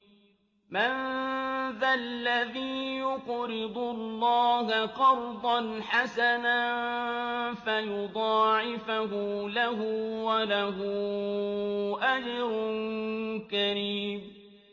مَّن ذَا الَّذِي يُقْرِضُ اللَّهَ قَرْضًا حَسَنًا فَيُضَاعِفَهُ لَهُ وَلَهُ أَجْرٌ كَرِيمٌ